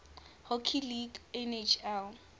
hockey league nhl